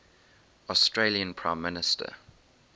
australian prime minister